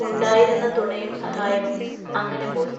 ഉണ്ടായിരുന്ന തുണയും സഹായവും അങ്ങനെ പോയി.